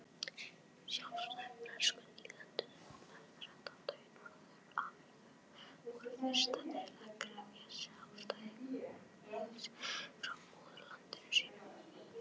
Sjálfstæði Bresku nýlendurnar þrettán í Norður-Ameríku voru fyrstar til að krefjast sjálfstæðis frá móðurlandi sínu.